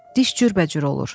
Diş cürbəcür olur.